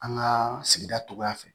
An ka sigida cogoya fɛ